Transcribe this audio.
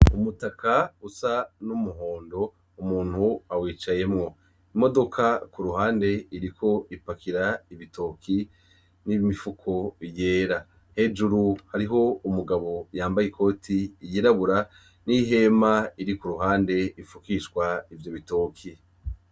Umutaka usa numuhondo umuntu awicayemwo. Imodoka kuruhande iriko ipakira ibitoki nimifuko vyera. Hejuru hariko umugabo yambaye ikote yirabura nihema kuruhande rifukishwa ivyo bitoki.